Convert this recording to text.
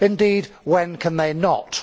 Indeed, when can they not?